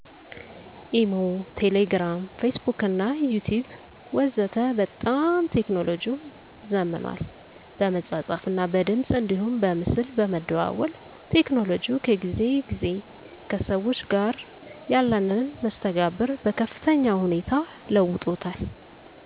ኢሞ፣ ቴሌግርም ፌስቡክና ዩቲቢብ ወዘተ በጣም ቴክኖሎጅው ዘምኗል በመጻጻፍ እና በድምጽ አንዲሁም በምስል በመደዋወል ቴክኖሎጅው ከጊዜ ግዜ ከሰዎች ጋር ያለንን መስተጋብር በከፍተኛ ሁኔታ ለውጦታል።